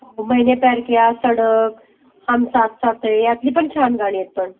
मैने प्यार किया, सडक, हम साथ साथ हैं ह्यातली पण छान गाणी आहेत पण.